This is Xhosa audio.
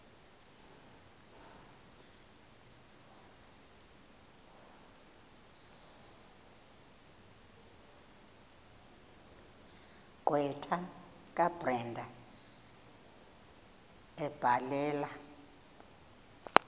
gqwetha kabrenda ebhalela